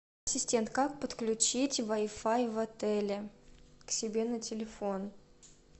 ассистент как подключить вай фай в отеле к себе на телефон